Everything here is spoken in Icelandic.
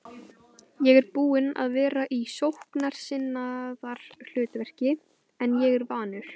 Ég er búinn að vera í sóknarsinnaðra hlutverki en ég er vanur.